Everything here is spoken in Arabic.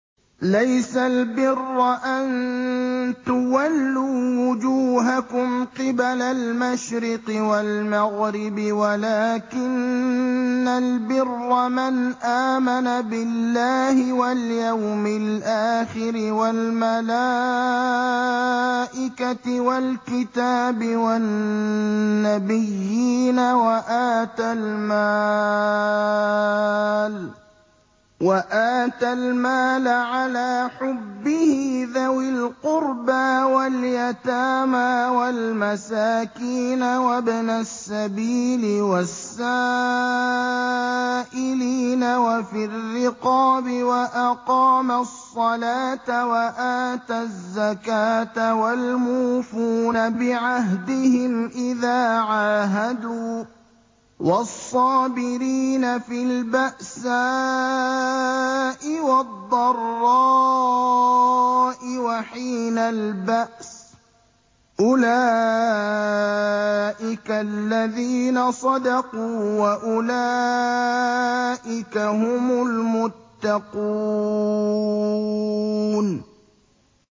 ۞ لَّيْسَ الْبِرَّ أَن تُوَلُّوا وُجُوهَكُمْ قِبَلَ الْمَشْرِقِ وَالْمَغْرِبِ وَلَٰكِنَّ الْبِرَّ مَنْ آمَنَ بِاللَّهِ وَالْيَوْمِ الْآخِرِ وَالْمَلَائِكَةِ وَالْكِتَابِ وَالنَّبِيِّينَ وَآتَى الْمَالَ عَلَىٰ حُبِّهِ ذَوِي الْقُرْبَىٰ وَالْيَتَامَىٰ وَالْمَسَاكِينَ وَابْنَ السَّبِيلِ وَالسَّائِلِينَ وَفِي الرِّقَابِ وَأَقَامَ الصَّلَاةَ وَآتَى الزَّكَاةَ وَالْمُوفُونَ بِعَهْدِهِمْ إِذَا عَاهَدُوا ۖ وَالصَّابِرِينَ فِي الْبَأْسَاءِ وَالضَّرَّاءِ وَحِينَ الْبَأْسِ ۗ أُولَٰئِكَ الَّذِينَ صَدَقُوا ۖ وَأُولَٰئِكَ هُمُ الْمُتَّقُونَ